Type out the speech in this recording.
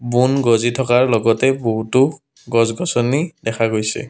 বোন গজি থকাৰ লগতে বহুতো গছ-গছনি দেখা গৈছে।